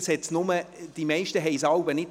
Die meisten bemerkten es jeweils nicht.